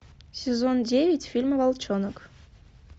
сезон девять фильм волчонок